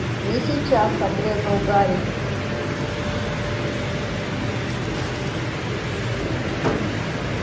не сейчас отрезал гарри